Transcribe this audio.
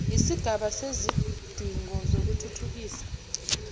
yisigaba sezidingo zokuthuthukisa